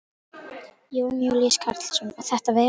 Jón Júlíus Karlsson: Og þetta veður?